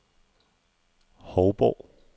Hovborg